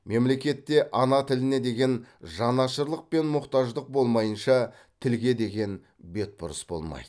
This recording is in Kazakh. мемлекетте ана тіліне деген жанашырлық пен мұқтаждық болмайынша тілге деген бетбұрыс болмайды